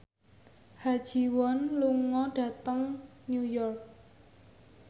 Ha Ji Won lunga dhateng New York